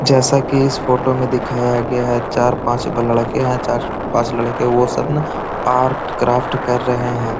जैसा की इस फोटो में दिखाया है चार पांच ब लड़के हैं चार पांच लड़के वह सब ना आर्ट क्राफ्ट कर रहे हैं।